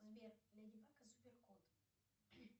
сбер леди баг и супер кот